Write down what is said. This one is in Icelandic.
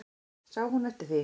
Sá hún eftir því?